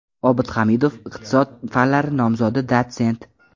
Obid Hamidov, iqtisod fanlari nomzodi, dotsent.